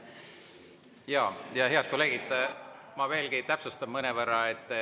Head kolleegid, ma veelgi täpsustan mõnevõrra.